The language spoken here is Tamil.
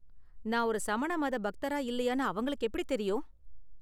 நான் ஒரு சமண மத பக்தரா இல்லயானு அவங்களுக்கு எப்படி தெரியும்?